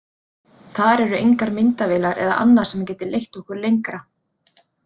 Þar eru engar myndavélar eða annað sem gæti leitt okkur lengra.